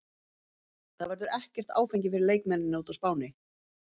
Það verður ekkert áfengi fyrir leikmennina úti á Spáni.